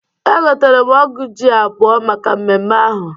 Egotere m ọ́gụ̀ ji abụọ maka mmemme ahụ.